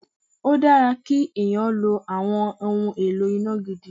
Ó dára kí èèyàn lo àwọn ohun èlò iná gidi.